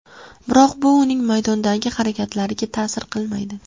Biroq bu uning maydondagi harakatlariga ta’sir qilmaydi.